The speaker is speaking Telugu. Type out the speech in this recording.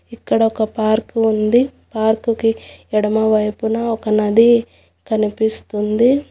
ఇక్కడ ఒక పార్కు ఉంది పార్కుకి ఎడమవైపున ఒక నది కనిపిస్తుంది.